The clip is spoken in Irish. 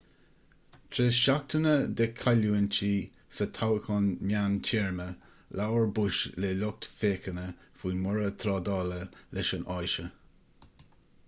tar éis seachtaine de chailliúintí sa toghchán meántéarma labhair bush le lucht féachana faoin mborradh trádála leis an áise